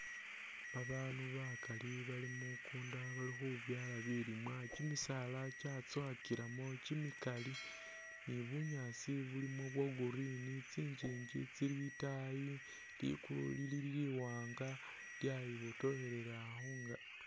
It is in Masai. Babaandu bakali bali mukundu bali khubyaala bilimwa, kimisaala kyatsowakilamo kimikali ni bunyaasi bulimo bwa green tsingingi tsili itaayi ligulu lili liwaanga lyayi botokhelela khun...